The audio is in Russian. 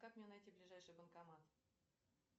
как мне найти ближайший банкомат